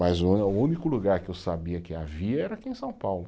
Mas o, o único lugar que eu sabia que havia era aqui em São Paulo.